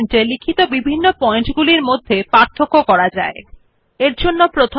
প্রথম এই মেনু বারে ফরম্যাট বিকল্প উপর ক্লিক করুন এবং তারপর বুলেটস এন্ড নাম্বারিং ক্লিক করে দ্বারা ব্যবহার করা হয়